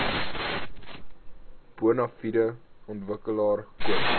bonafide ontwikkelaar koop